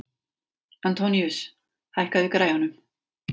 Antoníus, hækkaðu í græjunum.